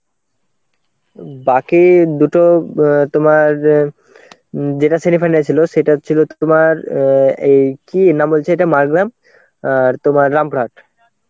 বাকি দুটো অ্যাঁ তোমার যেটা semifinal ছিল সেটা হচ্ছিল তোমার অ্যাঁ এই কি নাম বলছে এটা মারগ্রাম আর তোমার রামপুরহাট.